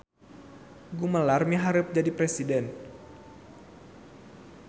Gumelar miharep jadi presiden